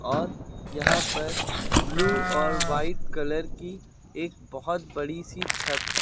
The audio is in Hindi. और यहां पर ब्लू और वाइट कलर की एक बहोत बड़ी सी छत है।